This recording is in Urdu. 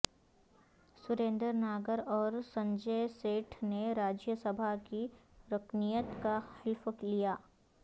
سریندر ناگر اور سنجے سیٹھ نے راجیہ سبھا کی رکنیت کاحلف لیا